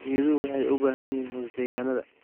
Geeduhu waxay bixiyaan hoos deegaanada.